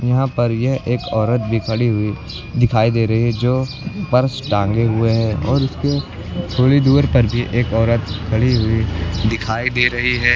यहां पर यह एक औरत भी खड़ी हुई दिखाई दे रही है जो पर्स टांगे हुए हैं और उसके थोड़ी दूर पर भी एक औरत खड़ी हुई दिखाई दे रही है।